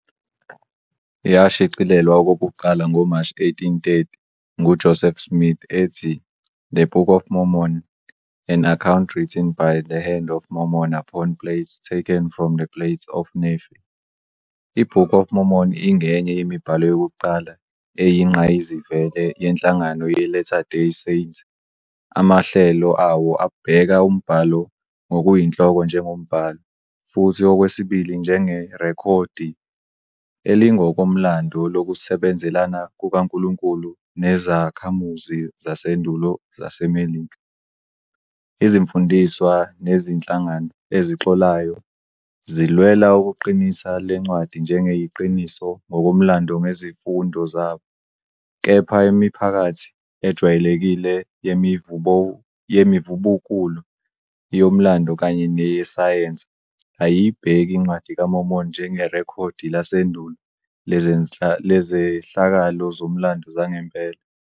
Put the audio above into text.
Yashicilelwa okokuqala ngoMashi 1830 nguJoseph Smith ethi The Book of Mormon- An Account Written by the Hand of Mormon upon Plates Taken from the Plates of Nephi. I-Book of Mormon ingenye yemibhalo yokuqala eyingqayizivele yenhlangano ye-Latter Day Saint, amahlelo awo abheka umbhalo ngokuyinhloko njengombhalo, futhi okwesibili njengerekhodi elingokomlando lokusebenzelana kukaNkulunkulu nezakhamuzi zasendulo zaseMelika. Izifundiswa nezinhlangano ezixolayo zilwela ukuqinisa le ncwadi njengeyiqiniso ngokomlando ngezifundo zabo, kepha imiphakathi ejwayelekile yemivubukulo, yomlando kanye neyesayensi ayiyibheki iNcwadi kaMormoni njengerekhodi lasendulo lezehlakalo zomlando zangempela.